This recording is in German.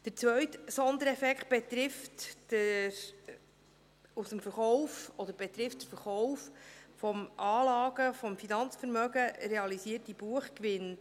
Der zweite Sondereffekt betrifft den durch Verkauf beim Anlage- und Finanzvermögen realisierten Buchgewinn.